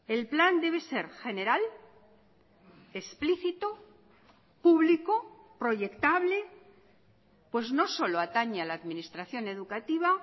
el plan debe ser general explícito público proyectable pues no solo atañe a la administración educativa